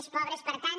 més pobres per tant